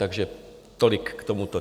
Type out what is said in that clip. Takže tolik k tomu.